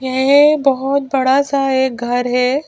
ये बहुत बड़ा सा एक घर है।